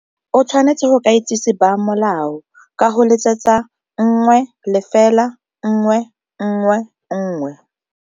O tshwanetse go ka itsisi ba molao ka go letsetsa nngwe, lefela, nngwe, nngwe, nngwe.